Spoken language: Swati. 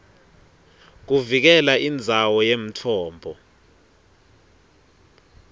kuvikela indzawo yemtfombo